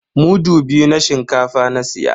Mudu biyu na shinkafa na siya.